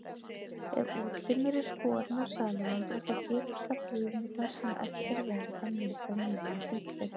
Ef útlimur er skorinn af salamöndru, þá geta frumurnar sem eftir verða myndað nýjan útlim.